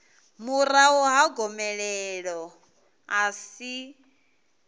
murahu ha gomelelo a si